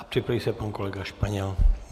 A připraví se pan kolega Španěl.